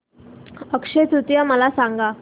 अक्षय तृतीया मला सांगा